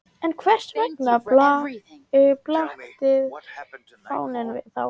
En hvers vegna blaktir fáninn þá?